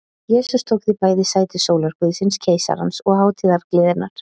Jesús tók því bæði sæti sólarguðsins, keisarans og hátíðargleðinnar.